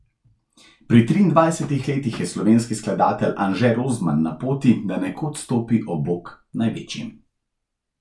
Pri triindvajsetih letih je slovenski skladatelj Anže Rozman na poti, da nekoč stopi ob bok največjim.